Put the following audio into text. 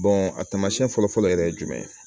a taamasiyɛn fɔlɔ fɔlɔ yɛrɛ ye jumɛn ye